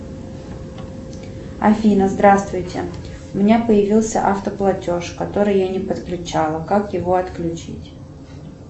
афина здравствуйте у меня появился автоплатеж который я не подключала как его отключить